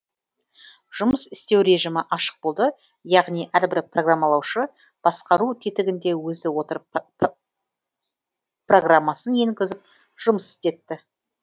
жұмыс істеу режімі ашық болды яғни әрбір программалаушы басқару тетігінде өзі отырып программасын енгізіп жұмыс істетті